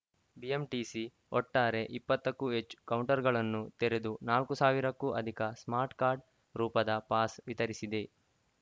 BMTC ಒಟ್ಟಾರೆ ಇಪ್ಪತ್ತು ಕ್ಕೂ ಹೆಚ್ಚು ಕೌಂಟರ್‌ಗಳನ್ನು ತೆರೆದು ನಾಲ್ಕು ಸಾವಿರಕ್ಕೂ ಅಧಿಕ ಸ್ಮಾರ್ಟ್‌ಕಾರ್ಡ್‌ ರೂಪದ ಪಾಸ್‌ ವಿತರಿಸಿದೆ